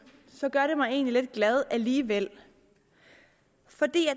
gør det mig egentlig lidt glad alligevel fordi